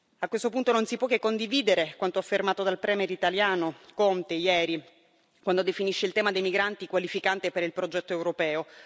A questo punto non si può che condividere quanto affermato dal premier italiano Conte ieri, quando definisce il tema dei migranti qualificante per il progetto europeo.